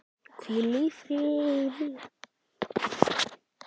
Hvíl í friði.